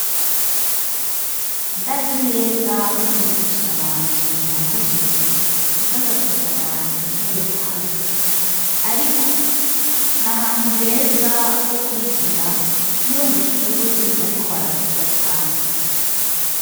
Ndazi neza ko umwigisha wanje yambujije kuza ndasohora intebe hanze ariko n'ahantu heza ho kwigira iyo mw'ishure bariko baravuga cane .